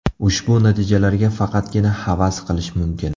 Ushbu natijalarga faqatgina havas qilish mumkin.